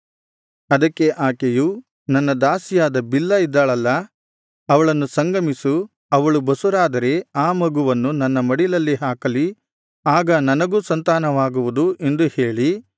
ಅದಕ್ಕೆ ಆಕೆಯು ನನ್ನ ದಾಸಿಯಾದ ಬಿಲ್ಹಾ ಇದ್ದಾಳಲ್ಲಾ ಅವಳನ್ನು ಸಂಗಮಿಸು ಅವಳು ಬಸುರಾದರೆ ಆ ಮಗುವನ್ನು ನನ್ನ ಮಡಿಲಲ್ಲಿ ಹಾಕಲಿ ಆಗ ನನಗೂ ಸಂತಾನವಾಗುವುದು ಎಂದು ಹೇಳಿ